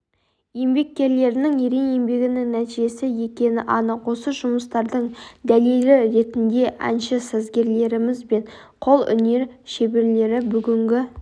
еңбеккерлерінің ерен еңбегінің нәтижесі екені анық осы жұмыстардың дәлелі ретінде әнші-сазгерлеріміз бен қолөнер шеберлері бүгінгі